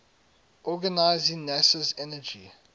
organizing nasa's energy